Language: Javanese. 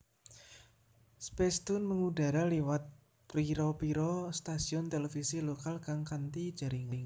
Spacetoon mengudara liwat pira pira stasiun televisi lokal kang kanti jaringan